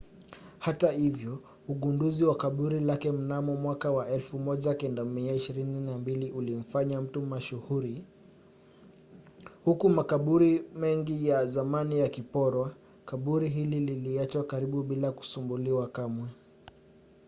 hata hivyo ugunduzi wa kaburi lake mnamo 1922 ulimfanya mtu mashuhuri. huku makaburi mengi ya zamani yakiporwa kaburi hili liliachwa karibu bila kusumbuliwa kamwe